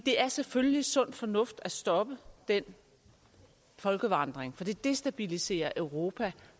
er selvfølgelig sund fornuft at stoppe den folkevandring for det destabiliserer europa